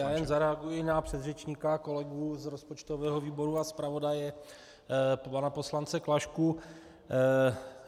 Já jen zareaguji na předřečníka, kolegu z rozpočtového výboru a zpravodaje pana poslance Klašku.